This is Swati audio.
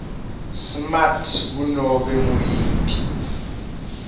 smart kunobe nguyiphi